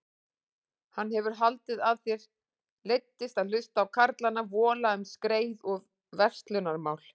Hann hefur haldið að þér leiddist að hlusta á karlana vola um skreið og verslunarmál.